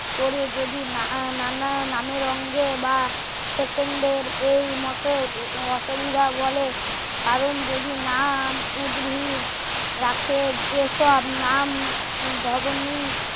করে যদি নানা নামের অঙ্গে বা সেকেন্ড এর এই মতে অসুবিধা বলে কারণ যদি নাম উদ্ভিদ রাখে যে সব নাম দবনি